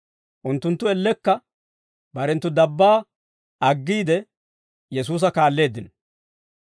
Unttunttu ellekka barenttu dabbaa aggiide, Yesuusa kaalleeddino.